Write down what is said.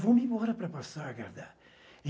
Vou-me embora para Passagarda.